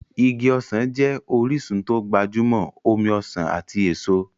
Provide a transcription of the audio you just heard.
Igi ọsàn jẹ́ orísun tó gbajúmọ̀ omi ọsàn ati èso.